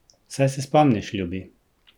Saj se spomniš, ljubi.